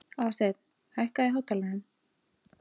Aðalsteinunn, hækkaðu í hátalaranum.